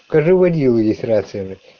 скажи водила есть рация бля